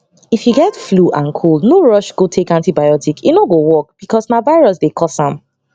if you get flu and cold no rush go take antibiotic e no go work because na virus dey cause m